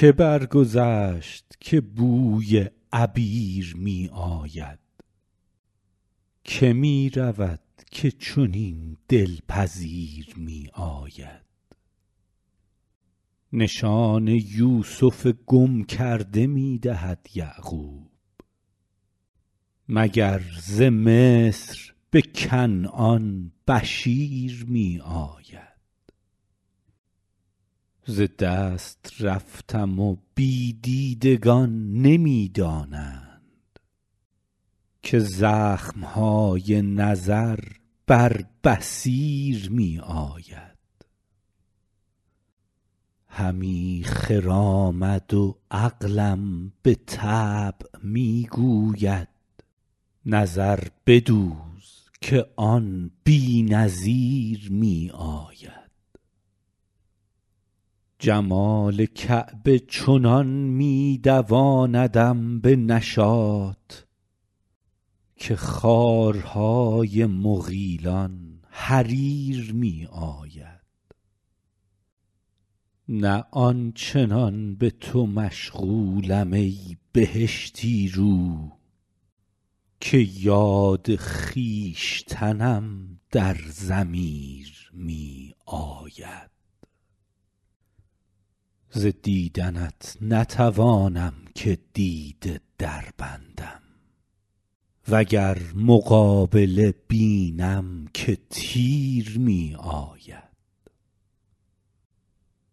که برگذشت که بوی عبیر می آید که می رود که چنین دل پذیر می آید نشان یوسف گم کرده می دهد یعقوب مگر ز مصر به کنعان بشیر می آید ز دست رفتم و بی دیدگان نمی دانند که زخم های نظر بر بصیر می آید همی خرامد و عقلم به طبع می گوید نظر بدوز که آن بی نظیر می آید جمال کعبه چنان می دواندم به نشاط که خارهای مغیلان حریر می آید نه آن چنان به تو مشغولم ای بهشتی رو که یاد خویشتنم در ضمیر می آید ز دیدنت نتوانم که دیده دربندم و گر مقابله بینم که تیر می آید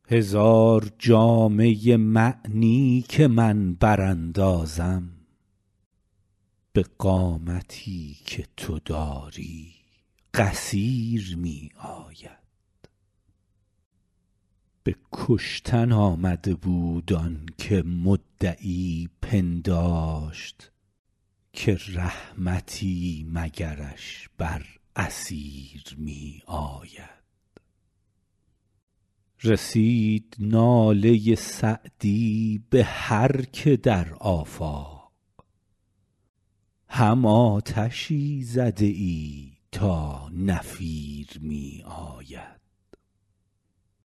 هزار جامه معنی که من براندازم به قامتی که تو داری قصیر می آید به کشتن آمده بود آن که مدعی پنداشت که رحمتی مگرش بر اسیر می آید رسید ناله سعدی به هر که در آفاق هم آتشی زده ای تا نفیر می آید